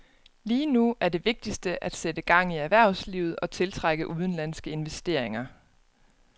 Lige nu er det vigtigste at sætte gang i erhvervslivet og tiltrække udenlandske investeringer.